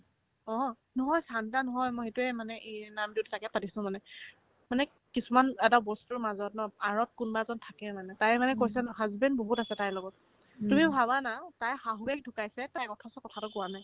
অ', নহয় ছান্টা নহয় মা সেইটোয়ে মানে এ নামতোত ছাগে পাতিছো মানে মানে কিছুমান এটা বস্তুৰ মাজত ন আৰত কোনবা এজন থাকে মানে তাই মানে কৈছে ন husband বহুত আছে তাইৰ লগত তুমিও ভাবা না তাইৰ শাহুয়েক ঢুকাইছে তাই অথচ কথাতো কোৱা নাই